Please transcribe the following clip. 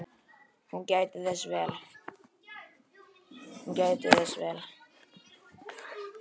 Hún gætti þess vel.